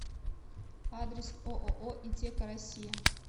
адрес ооо итеко россия